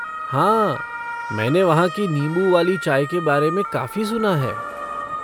हाँ मैंने वहाँ की नींबू वाली चाय के बारे में काफ़ी सुना है।